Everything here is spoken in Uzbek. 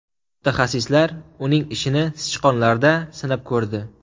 Mutaxassislar uning ishini sichqonlarda sinab ko‘rdi.